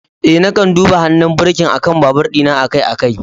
Eh, na kan duba hannun birkin akan babur dina akai-akai.